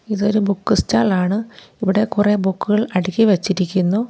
ഇതൊരു book stall ആണ് ഇവിടെ കുറെ ബുക്കുകൾ അടുക്കി വെച്ചിരിക്കുന്നു.